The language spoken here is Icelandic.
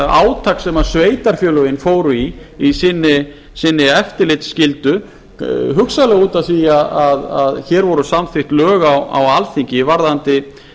átak sem sveitarfélögin fóru í í sinni eftirlitsskyldu hugsanlega út af því að hér voru samþykkt lög á alþingi varðandi